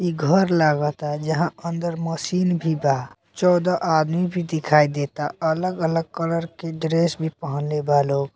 इ घर लगाता जहां अंदर मशीन भी बा चौदह आदमी भी दिखाई देता अलग-अलग कलर के ड्रेस भी पहनले बा लोग।